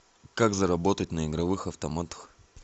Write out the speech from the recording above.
как заработать на игровых автоматах